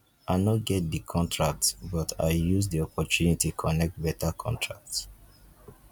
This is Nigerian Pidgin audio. i no get di contract but i use di opportunity connect beta contract